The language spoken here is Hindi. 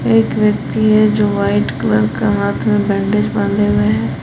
एक व्यक्ति है जो वाइट कलर का हाथ में बैंडेज बांधे हुए हैं।